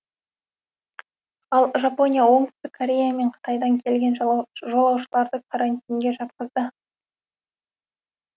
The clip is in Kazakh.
ал жапония оңтүстік корея мен қытайдан келген жолаушыларды карантинге жатқызады